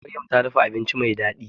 Maryam ta dafa abinci mai daɗi